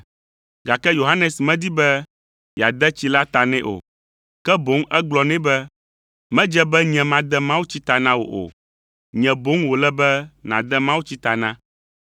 gake Yohanes medi be yeade tsi la ta nɛ o, ke boŋ egblɔ nɛ be, “Medze be nye made mawutsi ta na wò o. Nye boŋ wòle be nàde mawutsi ta na.”